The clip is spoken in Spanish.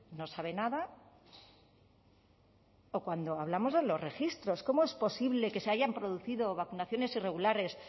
no sabe nada o cuando hablamos de los registros cómo es posible que se hayan producido vacunaciones irregulares